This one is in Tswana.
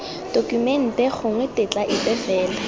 tokumente gongwe tetla epe fela